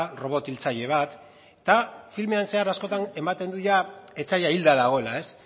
robot hiltzaile bat eta filmean zehar askotan ematen du jada etsaia hilda dagoela ez